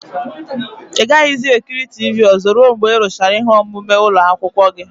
Ị gaghịzi ekiri tivii ozo ruo mgbe ị rụchara ihe omume ụlọ akwụkwọ gị.